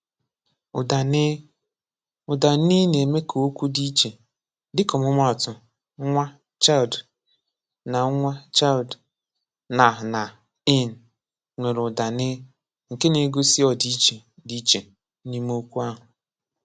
Ụ̀dà “n”: Ụ̀dà “n” na-eme ka okwu dị iche. Dịka ọmụmaatụ, “nwa” (child) na “nwa” (child) na “na” (in) nwere ụ̀dà “n” nke na-egosi ọdịiche dị iche n’ime okwu ahụ.